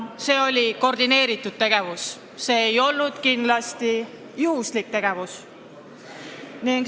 See oli koordineeritud tegevus, see ei olnud kindlasti juhuslik tegevus.